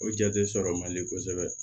O jate sɔrɔ man di kosɛbɛ